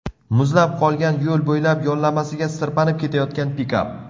Muzlab qolgan yo‘l bo‘ylab yonlamasiga sirpanib ketayotgan pikap.